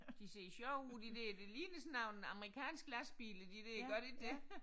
De ser sjove ud de der de ligner sådan nogle amerikanske lastbiler de der gør de ikke det